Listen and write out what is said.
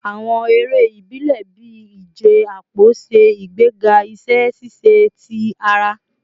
Awọn ere ibile bii ije apo ṣe igbega iṣẹ ṣiṣe ti ara